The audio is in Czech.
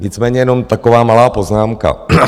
Nicméně jenom taková malá poznámka.